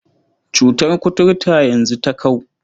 Cutar kuturta yanzu ta kau.